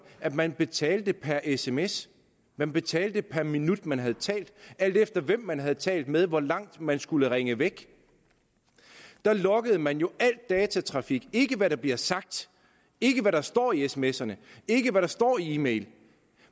at man betalte per sms at man betalte per minut man havde talt alt efter hvem man havde talt med hvor langt man skulle ringe væk der loggede man jo al datatrafik ikke hvad der blev sagt ikke hvad der stod i smserne ikke hvad der stod i e mailen